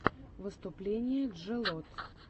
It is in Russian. выступление джелот